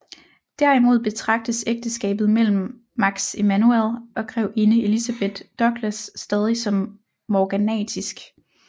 Derimod betragtes ægteskabet mellem Max Emanuel og grevinde Elizabeth Douglas stadigt som morganatisk